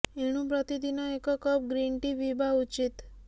ଏଣୁ ପ୍ରତିଦିନ ଏକ କପ୍ ଗ୍ରିନ୍ ଟି ପିଇବା ଉଚିତ